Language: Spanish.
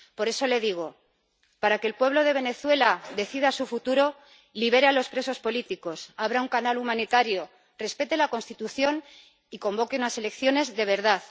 Por eso, le digo para que el pueblo de Venezuela decida su futuro, libere a los presos políticos, abra un canal humanitario, respete la Constitución y convoque unas elecciones de verdad.